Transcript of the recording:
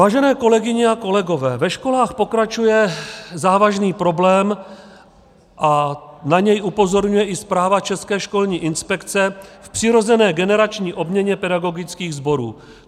Vážené kolegyně a kolegové, ve školách pokračuje závažný problém a na něj upozorňuje i zpráva České školní inspekce k přirozené generační obměně pedagogických sborů.